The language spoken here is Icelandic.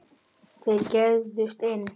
Þeir gægðust inn.